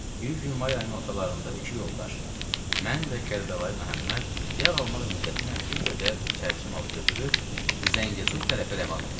Bir gün may ayının ortalarında iki yoldaş mən və Kərbəlayı Məhəmməd yağ almaq niyyəti ilə bir qədər çərçi malı götürüb Zəngəzur tərəfi rəvan olduq.